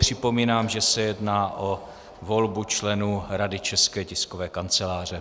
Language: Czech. Připomínám, že se jedná o volbu členů Rady České tiskové kanceláře.